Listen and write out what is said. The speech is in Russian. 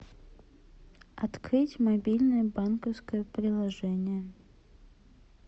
открыть мобильное банковское приложение